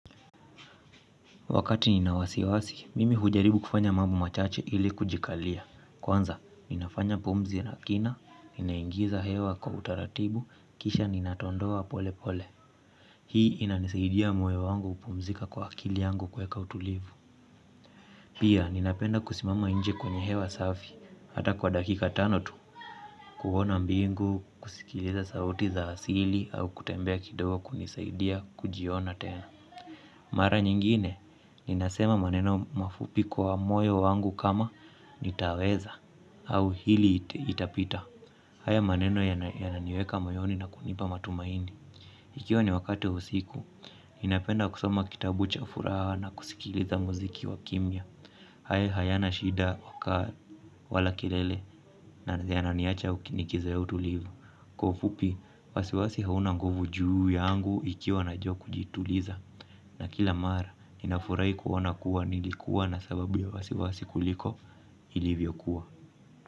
Wakati nina wasiwasi, mimi hujaribu kufanya mambo machache ili kujikalia. Kwanza ninafanya pumzi na kina, ninaingiza hewa kwa utaratibu kisha ninadondoa polepole hii inanisaidia moyo kupumzika kwa akili yangu kueka utulivu pia, ninapenda kusimama nje kwenye hewa safi, hata kwa dakika tano tu, kuona mbingu, kusikiliza sauti za asili, au kutembea kidogo kunisaidia kujiona tena. Mara nyingine, ninasema maneno mafupi kwa moyo wangu kama nitaweza au hili itapita. Haya maneno yananiweka moyoni na kunipa matumaini. Ikiwa ni wakati wa usiku, ninapenda kusoma kitabu cha furaha na kusikiliza muziki wa kimya. Haya hayana shida wala kilele na yananiacha ukinikiza utulivu. Kwa ufupi, wasiwasi hauna nguvu juu yangu ikiwa najua kujituliza. Na kila mara ninafurahi kuona kuwa nilikua na sababu ya wasiwasi kuliko ilivyokua.